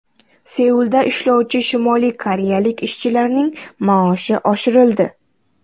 Seulda ishlovchi Shimoliy koreyalik ishchilarning maoshi oshirildi.